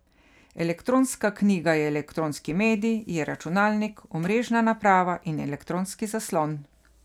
Elektronska knjiga je elektronski medij, je računalnik, omrežna naprava in elektronski zaslon.